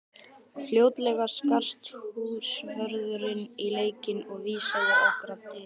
Fljótlega skarst húsvörðurinn í leikinn og vísaði okkur á dyr.